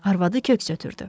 Arvadı köks ötürdü.